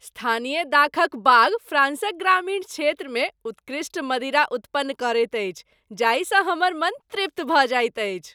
स्थानीय दाखक बाग फ्राँसक ग्रामीण क्षेत्रमे उत्कृष्ट मदिरा उत्पन्न करैत अछि जाहिसँ हमर मन तृप्त भऽ जाइत अछि।